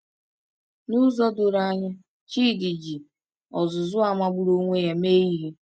N’ụzọ doro anya, Chidi ji ọzụzụ a magburu onwe ya mee ihe.